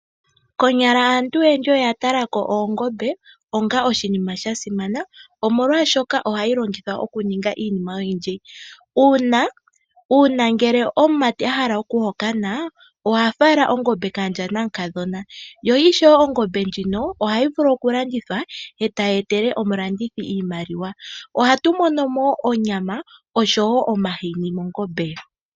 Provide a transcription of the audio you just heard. Konyala aantu oyendji oya tala ko oongombe onga oshinima sha simana, molwashoka ohadhi longithwa okuninga iinima oyindji. Uuna omumati a hala okuhokana oha gondo omukadhona gwe ongombe. Ongombe oyo tuu ndjika ohayi vulu okulandithwa e tayi etele omulandithi iimaliwa. Ohatu mono ko wo onyama noshowo omahini.